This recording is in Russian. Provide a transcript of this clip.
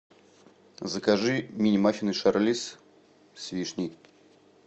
закажи мини маффины шарлиз с вишней